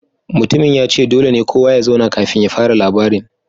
Mutumin ya ce dole ne kowa ya zauna kafin ya fara labarin